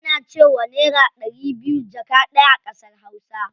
Ana cewa naira ɗari biyu jaka ɗaya a ƙasar hausa.